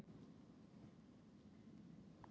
Tansanía